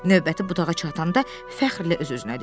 Növbəti budağa çatanda fəxrlə öz-özünə dedi.